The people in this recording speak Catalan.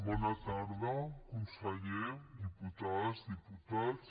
bona tarda conseller diputades diputats